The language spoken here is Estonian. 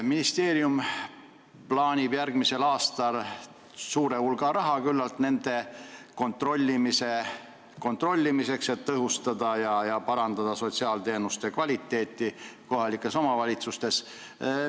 Ministeerium plaanib järgmisel aastal kulutada küllalt suure hulga raha nende kontrollimiseks, et tõhustada ja parandada sotsiaalteenuste kvaliteeti kohalikes omavalitsustes.